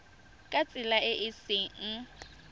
ka tsela e e seng